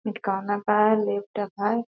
है लिफ्ट है।